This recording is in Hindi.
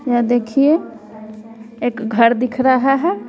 यह देखिए एक घर दिख रहा है।